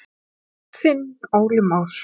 Þinn Óli Már.